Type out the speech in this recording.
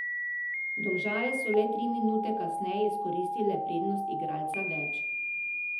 Domžale so le tri minute kasneje izkoristile prednost igralca več.